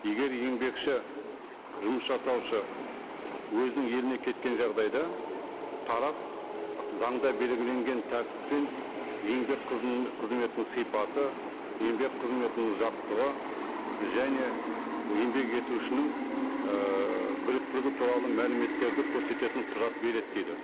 егер еңбекші жұмыс жасаушы өзінің еліне кеткен жағдайда тарап заңда белгіленген тәртіппен еңбек қызметінің сипаты еңбек қызметінің ұзақтығы және еңбек етушінің ііі біліктілігі туралы мәліметтерді көрсететін құжат береді дейді